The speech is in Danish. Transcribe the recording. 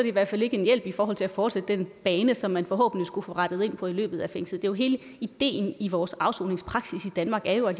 i hvert fald ikke en hjælp i forhold til at fortsætte den bane som man forhåbentlig skulle få rettet ind på i løbet af fængsel hele ideen i vores afsoningspraksis i danmark er jo at